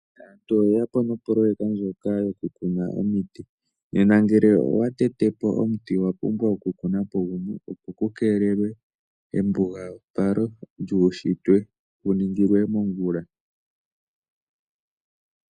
Aantu oye ya po nopoloyeka ndjoka yokukuna omiti. Nena ngele owa tete po omuti owa pumbwa okukuna po gumwe, opo ku keelelwe embugapalo lyuushitwe ku ningilwe komongula.